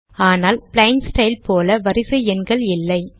ஆனால் plain style போல வரிசை எண்கள் இல்லை